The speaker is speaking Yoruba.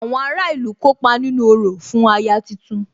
Àwọn ará ìlú kópa nínú orò fún aya tuntun